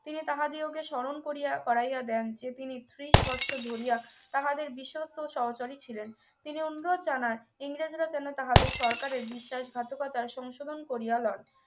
তিনি তাহাদিগকে স্মরণ করিয়া করাইয়া দেন যে তিনি তিরিশ বছর ধরিয়া তাহাদের বিশ্বস্ত সহচরী ছিলেন তিনি অনুরোধ জানান ইংরেজরা যেন তাহাদের সরকারের বিশ্বাসঘাতকতার সংশোধন করিয়া লন